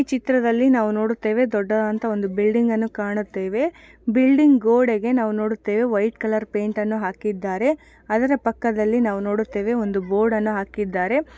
ಈ ಚಿತ್ರದಲ್ಲಿ ನಾವು ನೋಡುತ್ತೇವೆ ದೊಡ್ಡದಾದ ಒಂದು ಬಿಲ್ಡಿಂಗ್ ಅನ್ನ ಕಾಣುತ್ತೇವೆ. ಬಿಲ್ಡಿಂಗ್ ಗೋಡೆಗೆ ನಾವು ನೋಡುತ್ತೇವೆ ವೈಟ್ ಕಲರ್ ಪೇಂಟನ್ನು ಹಾಕಿದ್ದಾರೆ. ಅದರ ಪಕ್ಕದಲ್ಲಿ ನೋಡುತ್ತೇವೆ ಒಂದು ಬೋರ್ಡನ್ನು ಹಾಕಿದ್ದಾರೆ.